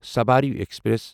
Sabari express